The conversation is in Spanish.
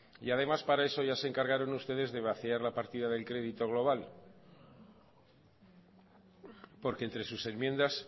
y además para eso ya se encargaron ustedes de vaciar la partida del crédito global porque entre sus enmiendas